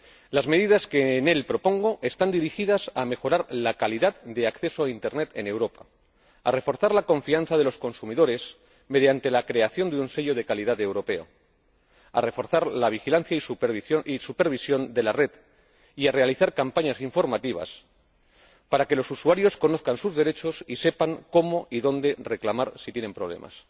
Las medidas que en él propongo están dirigidas a mejorar la calidad de acceso a Internet en Europa, a reforzar la confianza de los consumidores mediante la creación de un sello de calidad europeo, a reforzar la vigilancia y supervisión de la red y a realizar campañas informativas para que los usuarios conozcan sus derechos y sepan cómo y dónde reclamar si tienen problemas